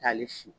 Taali si